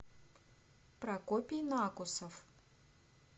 прокопий накусов